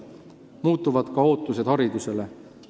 Muutuvad ka ootused haridusele.